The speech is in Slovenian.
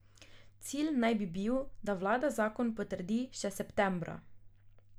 Cilj naj bi bil, da vlada zakon potrdi še septembra.